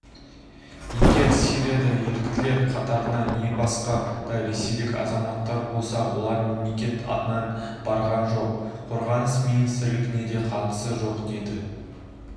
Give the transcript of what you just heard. егер сирияда еріктілер қатарына не басқа да ресейлік азаматтар болса олар мемлекет атынан барған жоқ қорғаныс министрлініне де қатысы жоқ деді